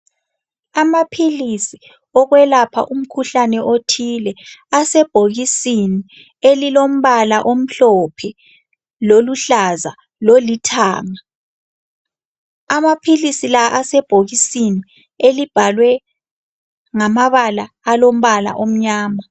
Amaphilisi okwelapha umkhuhlane othile asebhokisini elilombala omhlophe , loluhlaza lolithanga. Amaphilisi la asebhokisini elibhalwe ngamabala alombala omnyama.